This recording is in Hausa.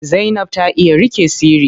Zainab ta iya riƙe sirri.